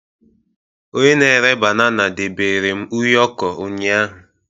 Onye na-ere banana debere m ụyọkọ ụnyahụ